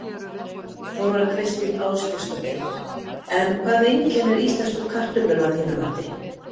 Þóra Kristín Ásgeirsdóttir: En hvað einkennir íslensku kartöfluna að þínu mati?